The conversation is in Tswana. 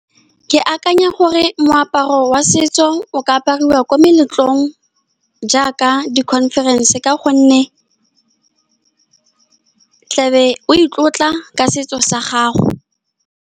Ke akanya gore moaparo wa setso o ka apariwa ko meletlong jaaka di conference, ka gonne o tlabe o itlotla ka setso sa gago.